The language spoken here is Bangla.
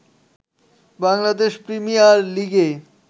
বাংলাদেশ প্রিমিয়ার লীগে